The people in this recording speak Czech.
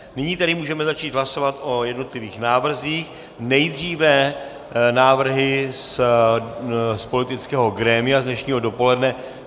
Nyní tedy můžeme začít hlasovat o jednotlivých návrzích, nejdříve návrhy z politického grémia z dnešního dopoledne.